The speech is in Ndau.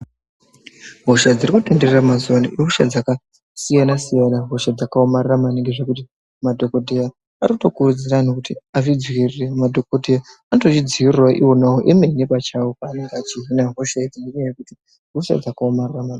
Hosha dziri kutenderera mazuwaano ihosha dzakasiyana-siyana, hosha dzakaomarara maningi, zvekuti madhokodheya ari kutokurudzira anhu kuti azvidziirire. Madhokodheya anotozvidziirirawo ona emene pavanenge vachihina hosha idzi ngenyaya yekuti ihosha dzakaomarara maningi.